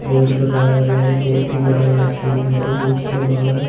Board लगाया गया है। बहोत ही बड़ा यह स्कूल है और उसके बाहर--